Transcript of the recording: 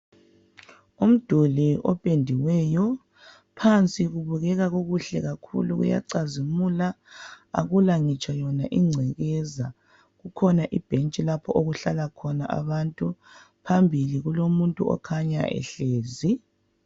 Umduli opendiweyo. Phansi kubukeka kukuhle kakhulu, uyacazimula. Akula ngitsho yona ingcekeza. Kukhona ibhentshi lapho okuhlala khona abantu. Phambili kulomuntu okukhanya ehlezi.